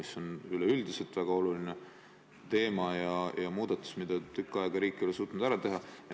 See on üleüldse väga oluline teema ja muudatus, mida riik ei ole tükil ajal suutnud ära teha.